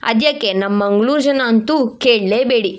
ಅದ್ಯಾಕೆ ನಮ್ ಮಂಗಳೂರು ಜನ ಅಂತೂ ಕೇಳಲೇಬೇಡಿ.